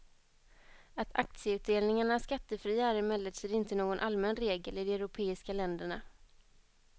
Att aktieutdelningar är skattefria är emellertid inte någon allmän regel i de europeiska länderna.